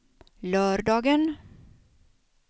lördagen